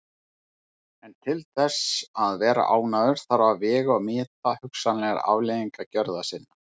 En til þess að vera ánægður þarf að vega og meta hugsanlegar afleiðingar gjörða sinna.